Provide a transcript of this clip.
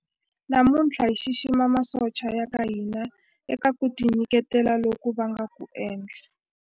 Namuntlha hi xixima masocha ya ka hina eka ku tinyiketela loku va nga ku endla.